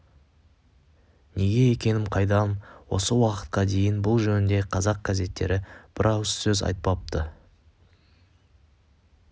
неге екенім қайдам осы уақытқа дейін бұл жөнінде қазақ газеттері бір ауыз сөз айтпапты